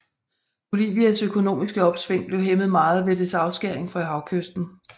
Bolivias økonomiske opsving blev hæmmet meget ved dets afskæring fra havkysten